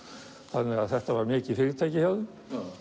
þannig að þetta var mikið fyrirtæki hjá þeim